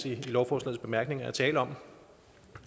i lovforslagets bemærkninger er tale om